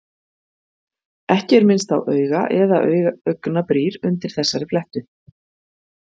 Ekki er minnst á auga- eða augnabrýr undir þessari flettu.